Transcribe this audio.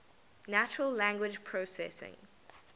natural language processing